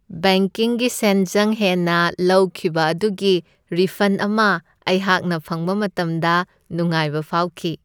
ꯕꯦꯡꯀꯤꯡꯒꯤ ꯁꯦꯟꯖꯪ ꯍꯦꯟꯅ ꯂꯧꯈꯤꯕ ꯑꯗꯨꯒꯤ ꯔꯤꯐꯟ ꯑꯃ ꯑꯩꯍꯥꯛꯅ ꯐꯪꯕ ꯃꯇꯝꯗ ꯅꯨꯡꯉꯥꯏꯕ ꯐꯥꯎꯈꯤ ꯫